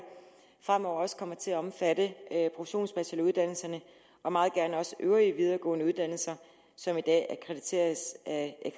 fremover også kommer til at omfatte professionsbacheloruddannelserne og meget gerne også øvrige videregående uddannelser som i dag akkrediteres af